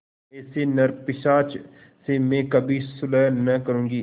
ऐसे नरपिशाच से मैं कभी सुलह न करुँगी